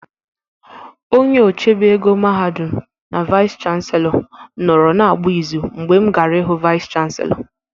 Onye ochebe ego mahadum na vaịs chanselọ nọrọ na-agba ịzụ mgbe m gara ịhụ vaịs chanselọ.